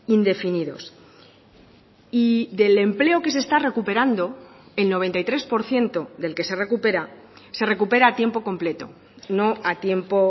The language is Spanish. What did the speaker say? indefinidos y del empleo que se está recuperando el noventa y tres por ciento del que se recupera se recupera a tiempo completo no a tiempo